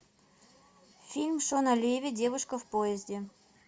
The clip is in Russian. фильм шона леви девушка в поезде